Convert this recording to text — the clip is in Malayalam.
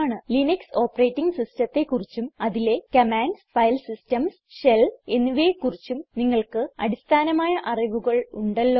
ലിനക്സ് ഓപ്പറേറ്റിംഗ് സിസ്റ്റത്തെ കുറിച്ചും അതിലെ കമാൻഡ്സ് ഫൈൽ സിസ്റ്റംസ് ഷെൽ എന്നിവയെ കുറിച്ചും നിങ്ങൾക്ക് അടിസ്ഥാനമായ അറിവുകൾ ഉണ്ടല്ലോ